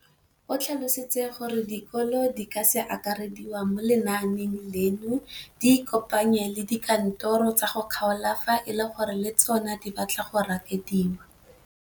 O tlhalositse gore dikolo tse di sa akarediwang mo lenaaneng leno di ikopanye le dikantoro tsa kgaolo fa e le gore le tsona di batla go akarediwa.